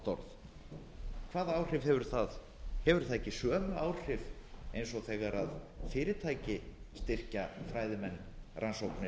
orð hvaða áhrif hefur það hefur það ekki sömu áhrif eins og þegar fyrirtæki styrkja fræðimenn rannsóknir